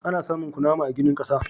Ana samun kunama a ginin ƙasa.